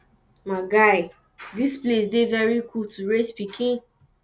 my guy dis place dey very cool to raise pikin